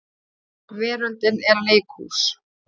Veröldin er leikhús.